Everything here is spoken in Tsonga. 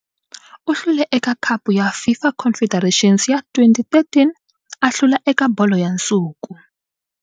U hlule eka Khapu ya FIFA Confederations ya 2013, a hlula eka Bolo ya Nsuku.